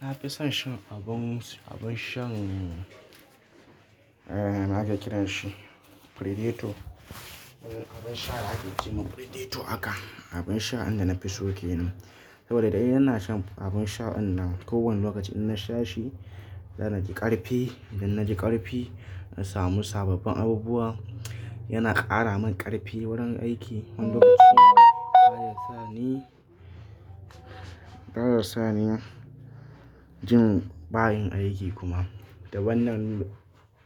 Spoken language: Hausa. Na fi son shan abun, abun shan eh me ake kiranshi Predator. Abin sha da ake ce ma Predator haka, abin sha inda na fi so kenan. Saboda indai ina shan abun sha in ko wani lokaci in na sha shi, zanaji ƙarfi. Idan na ji ƙarfi na samu sababbin abubuwa. Yana ƙara min ƙarfi wurin aiki. Wani lokacin baya sani, baya sani jin bayin aiki kuma. Da wannan